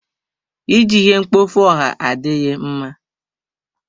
Iji ihe mkpofu ọha adịghị mma.